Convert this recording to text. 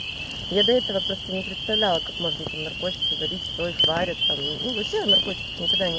я до этого просто не представляла как можно там наркотики варить кто их варит ну вообще о наркотиках никогда ни